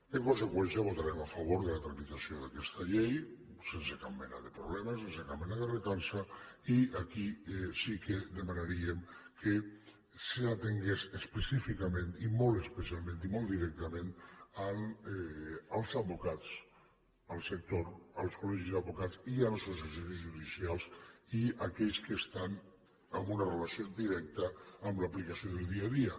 en conseqüència votarem a favor de la tramitació d’aquesta llei sense cap mena de problema sense cap mena de recança i aquí sí que demanaríem que s’atengués específicament i molt especialment i molt directament als advocats al sector als col·legis d’advocats i a les associacions judicials i a aquells que estan en una relació directa amb l’aplicació del dia a dia